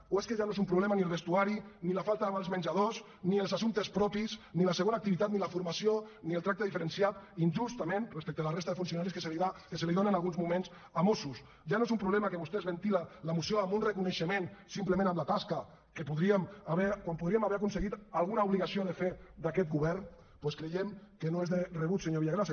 o és que ja no és un problema ni el vestuari ni la falta de vals menjador ni els assumptes propis ni la segona activitat ni la formació ni el tracte diferenciat injustament respecte a la resta de funcionaris que es dona en alguns moments a mossos ja no és un problema que vostè es ventila la moció amb un reconeixement simplement a la tasca quan podríem haver aconseguit alguna obligació de fer d’aquest govern doncs creiem que no és de rebut senyor villagrasa